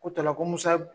Ko ta la ko musa